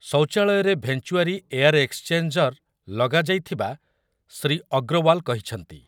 ଶୌଚାଳୟରେ venturi air exchanger ଲଗାଯାଇଥିବା ଶ୍ରୀ ଅଗ୍ରୱାଲ କହିଛନ୍ତି ।